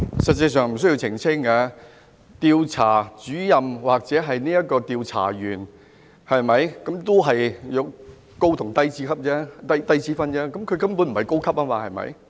實際上不需要澄清，調查主任或調查員只是高低級之分，他根本不是高級，對嗎？